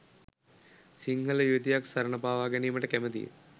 සිංහල යුවතියක් සරණ පාවා ගැනිමට කැමතිය